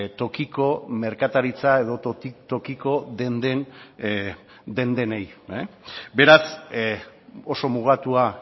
tokiko merkataritza edo tokiko denden den denei beraz oso mugatua